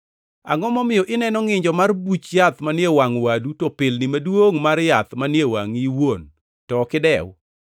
“Angʼo momiyo ineno ngʼinjo mar buch yath manie wangʼ wadu to pilni maduongʼ mar yath manie wangʼi iwuon to ok idew?